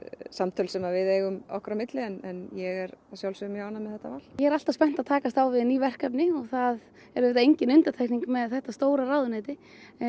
samtöl sem við eigum okkar á milli en ég er að sjálfsögðu mjög ánægð með þetta val ég er alltaf spennt að takast á við ný verkefni og það er auðvitað engin undantekning með þetta stóra ráðuneyti